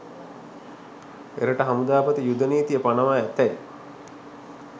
එරට හමුදාපති යුද නීතිය පනවා ඇතැයි